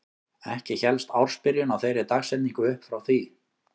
Ekki hélst ársbyrjun á þeirri dagsetningu upp frá því.